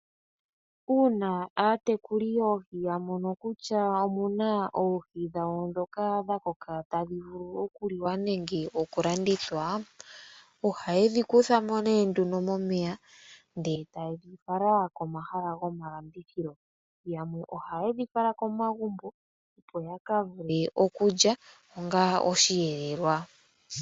Uuna aatekuli yoohi ya mono kutya omu na oohi dhawo ndhoka dha koka tadhi vulu okuliwa nenge okulandithwa, ohaye dhi kutha mo nee nduno momeya ndele e taye dhi fala komahala gomalandithilo. Yamwe ohaye dhi fala komagumbo, opo yaka vule okulya onga osheelelwa.